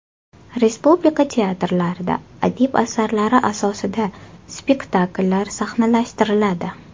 Respublika teatrlarida adib asarlari asosida spektakllar sahnalashtiriladi.